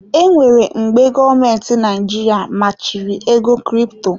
E nwere mgbe gọọmenti Naijiria machiri ego crypto.